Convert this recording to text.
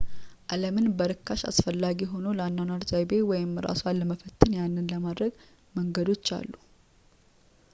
ዓለምን በርካሽ አስፈላጊ ሆኖ ለአኗኗር ዘይቤ ወይም እራስዎን ለመፈተን ያንን ለማድረግ መንገዶች አሉ